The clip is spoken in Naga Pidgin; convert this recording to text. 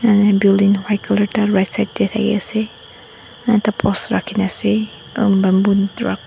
ane building white colour ekta right side teh thake ase ekta post rakhina ase aru bamboo drug --